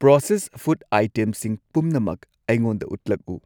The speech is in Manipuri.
ꯄ꯭ꯔꯣꯁꯦꯁ ꯐꯨꯗ ꯑꯥꯏꯇꯦꯝꯁꯤꯡ ꯄꯨꯝꯅꯃꯛ ꯑꯩꯉꯣꯟꯗ ꯎꯠꯂꯛꯎ꯫